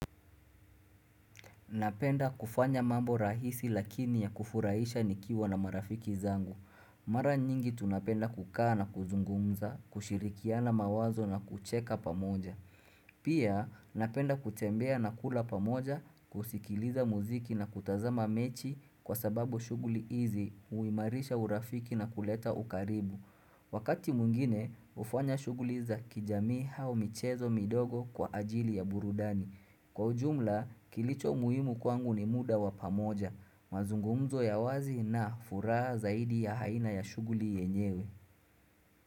Napenda kufanya mambo rahisi lakini ya kufurahisha nikiwa na marafiki zangu. Mara nyingi tunapenda kukaa na kuzungumza, kushirikiana mawazo na kucheka pamoja. Pia napenda kutembea na kula pamoja, kusikiliza muziki na kutazama mechi kwa sababu shuguli izi uimarisha urafiki na kuleta ukaribu. Wakati mungine, ufanya shuguliza kijami hao michezo midogo kwa ajili ya burudani. Kwa ujumla, kilicho muhimu kwangu ni muda wapamoja, mazungumzo ya wazi na furaa zaidi ya haina ya shuguli yenyewe.